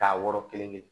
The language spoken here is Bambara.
K'a wɔrɔ kelen kelen